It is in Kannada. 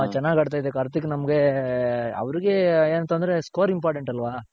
ಚೆನಾಗ್ ಆಡ್ತಿದ್ಯ ಕಾರ್ತಿಕ್ ನಮ್ಗೆ ಅವರ್ಗೆ ಏನ್ ತೊಂದ್ರೆ ಇಲ್ಲ score important ಅಲ್ವ